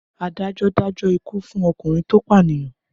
Adájọ́ dájọ́ ikú fún ọkùnrin tó pànìyàn?